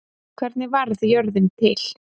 hvernig varð jörðin til